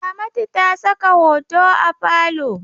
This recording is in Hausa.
Ramatu ta saka hoto a falo.